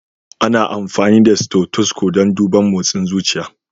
Ana amfani da stothosco dan duban mosin zuciya.